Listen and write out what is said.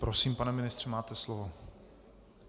Prosím, pane ministře, máte slovo.